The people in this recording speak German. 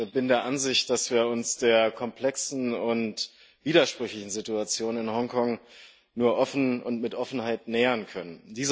Ich bin der Ansicht, dass wir uns der komplexen und widersprüchlichen Situation in Hongkong nur offen und mit Offenheit nähern können.